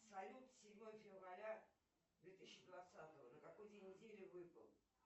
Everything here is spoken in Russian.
салют седьмое февраля две тысячи двадцатого на какой день недели выпал